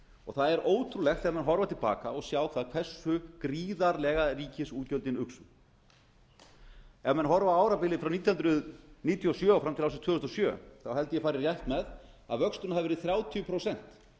ríkisútgjaldanna það er ótrúlegt þegar menn horfa til baka og sjá það hversu gríðarlega ríkisútgjöldin uxu þegar menn horfa á árabilið frá nítján hundruð níutíu og sjö og fram til ársins tvö þúsund og sjö þá held ég að ég fari rétt með að vöxturinn hafi verið þrjátíu prósent að